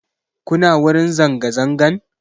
Kuna wurin zanga zangan?